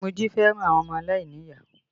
Moji fẹ́ràn àwọn ọmọ aláìníyàá